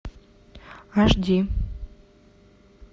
аш ди